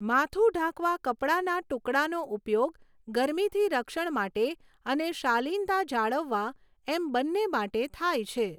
માથું ઢાંકવા કપડાના ટુકડાનો ઉપયોગ, ગરમીથી રક્ષણ માટે અને શાલીનતા જાળવવા, એમ બંને માટે થાય છે.